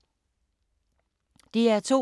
DR2